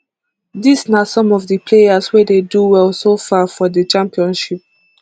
dis na some of di players wey dey do well so far for di championship